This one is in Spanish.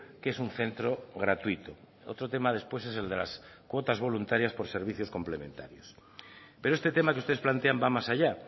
qué es un centro gratuito otro tema después es el de las cuotas voluntarias por servicios complementarios pero este tema que ustedes plantean va más allá